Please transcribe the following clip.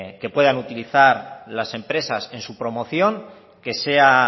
que puedan utilizar las empresas en su promoción que sea